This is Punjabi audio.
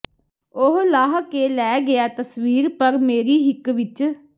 ਉਹ ਲਾਹ ਕੇ ਲੈ ਗਿਆ ਤਸਵੀਰ ਪਰ ਮੇਰੀ ਹਿੱਕ ਵਿਚ